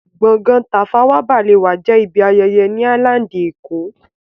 Gbọ̀ngán Tafawa Balewa jẹ́ ibi ayẹyẹ ni áílándì èkó